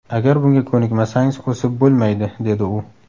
Agar bunga ko‘nikmasangiz, o‘sib bo‘lmaydi”, dedi u.